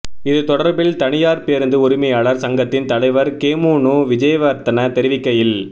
இது தொடர்பில் தனியார் பேருந்து உரிமையாளர்கள் சங்கத்தின் தலைவர் கெமுனு விஜேவர்தன தெரிவிக்கையில்